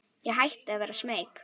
Ég hætti að vera smeyk.